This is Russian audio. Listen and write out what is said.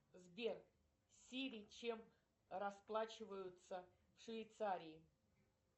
сбер сири чем расплачиваются в швейцарии